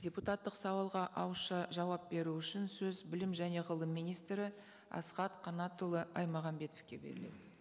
депутаттық сауалға ауызша жауап беру үшін сөз білім және ғылым министрі асхат қанатұлы аймағамбетовке беріледі